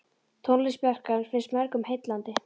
Tónlist Bjarkar finnst mörgum heillandi.